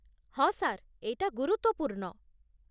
ହଁ, ସାର୍, ଏଇଟା ଗୁରୁତ୍ୱପୂର୍ଣ୍ଣ ।